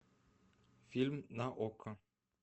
фильм на окко